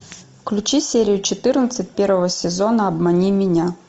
включи серию четырнадцать первого сезона обмани меня